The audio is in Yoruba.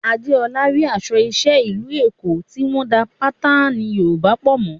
Adeola rí aṣọ iṣẹ́ ìlú Èkó tí wọ́n ń da àwọn bátánì Yorùbá pọ̀ mọ́